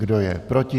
Kdo je proti?